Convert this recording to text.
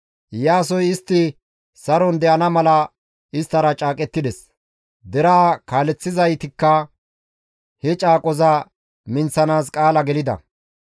Iyaasoy istti saron de7ana mala isttara caaqettides; deraa kaaleththizaytikka he caaqoza minththanaas qaala gelida.